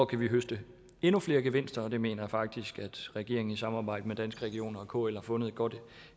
kan høste endnu flere gevinster og det mener jeg faktisk at regeringen i samarbejde med danske regioner og kl har fundet et godt